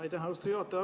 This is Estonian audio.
Aitäh, austatud juhataja!